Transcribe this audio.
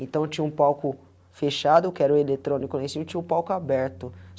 Então tinha um palco fechado, que era o eletrônico, nesse e tinha um palco aberto.